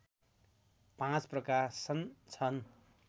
पाँच प्रकाशन छन्